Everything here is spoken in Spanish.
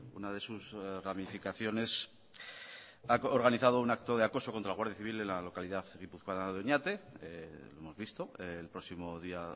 una de sus ramificaciones ha organizado un acto de acoso contra la guardia civil en la localidad guipuzcoana de oñate lo hemos visto el próximo día